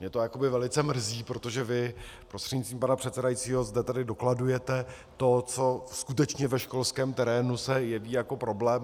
Mě to jakoby velice mrzí, protože vy prostřednictvím pana předsedajícího zde tedy dokladujete to, co skutečně ve školském terénu se jeví jako problém.